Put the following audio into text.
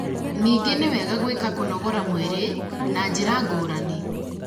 ningĩ niwega gwĩka kũnogora mwĩrĩ na njĩ ra ngũrani